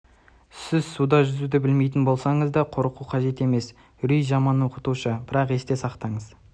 сіз суда жүзуді білмейтін болсаңыз да судан қорқу қажет емес үрей жаман оқытушы бірақта есте сақтаңыз